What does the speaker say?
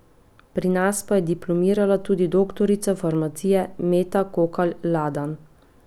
Pri nas pa je diplomirala tudi doktorica farmacije Meta Kokalj Ladan.